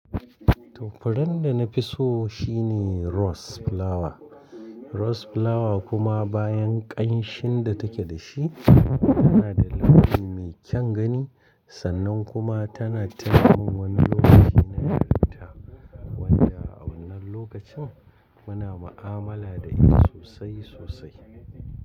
Furen da na fi so shine Rose Flower. Rose Flower kuma bayan ƙanshin da take da shi tana da launi mai kyan gani. Sannan kuma tana taimakon wani lokaci na ƴaranta wadda a wannan lokacin muna mu'amala da ita sosai sosai.